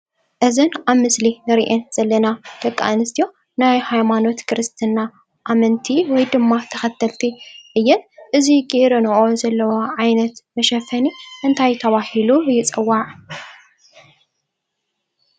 እዘን ኣብ ምስሊ እንሪአን ዘለና ደቂ ኣነስትዮ ናይ ሃይማኖት ክርስትና ኣመንቲ ወይ ድማ ተከተልቲ እየን፡፡ እዚ ገይረንኦ ዘለዋ ዓይነት መሸፈኒ እንታይ ተባሂሉ ይፅዋዕ?